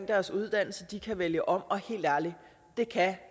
deres uddannelse kan vælge om og helt ærligt